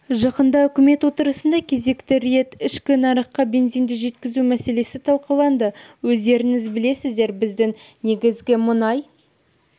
жақында үкімет отырысында кезекті рет ішкі нарыққа бензинді жеткізу мәселесі талқыланды өздеріңіз білесіздер біздің негізгі мұнай